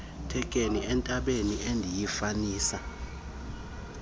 thekenee entendeni endiyifanisa